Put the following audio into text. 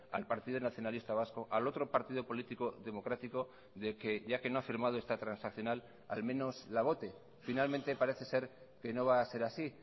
al partido nacionalista vasco al otro partido político democrático de que ya que no ha firmado esta transaccional al menos la vote finalmente parece ser que no va a ser así